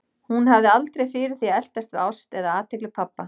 Hún hafði aldrei fyrir því að eltast við ást eða athygli pabba.